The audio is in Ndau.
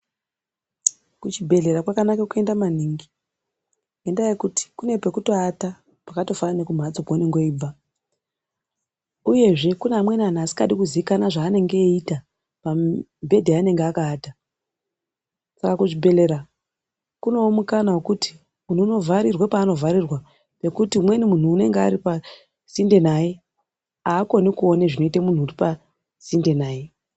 Kuchibhedhlera kwakanaka kuenda maningi ngendaa yekuti pane kwekutoata kwakatofanana nekumphatso kweunenge weibva uyezve kune amweni anhu asingadi kuzikanwa zvaanenge eiita pamibhedha yaanenge akawata saka kuchibhedhlera kunewo mukana wekuti munthu unovharirwa paanovharirwa pekuti umweni munthu unenge aripasinde naye aakoni kuona zvinoite munthu uri pasinde naye.